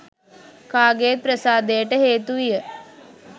කාගෙත් ප්‍රසාදයට හේතු විය